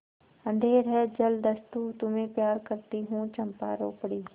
अंधेर है जलदस्यु तुम्हें प्यार करती हूँ चंपा रो पड़ी